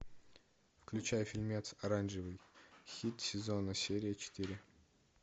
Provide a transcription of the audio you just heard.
включай фильмец оранжевый хит сезона серия четыре